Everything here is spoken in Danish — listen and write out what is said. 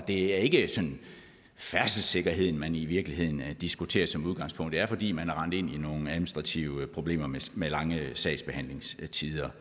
er ikke sådan færdselssikkerheden man i virkeligheden diskuterer som udgangspunkt det er fordi man er rendt ind i nogle administrative problemer med med lange sagsbehandlingstider